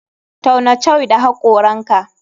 Tauna shoi da hakoranka.